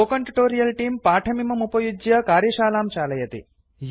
spoken tutorial तेऽं पाठमिदमुपयुज्य कार्यशालां चालयति